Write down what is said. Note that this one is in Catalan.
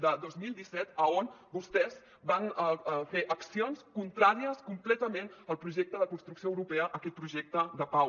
de dos mil disset on vostès van fer accions contràries completament al projecte de construcció europea aquest projecte de pau